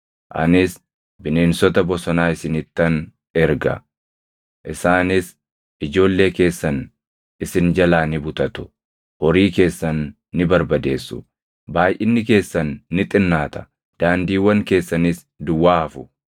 Anis bineensota bosonaa isinittan erga; isaanis ijoollee keessan isin jalaa ni butatu; horii keessan ni barbadeessu; baayʼinni keessan ni xinnaata; daandiiwwan keessanis duwwaa hafu.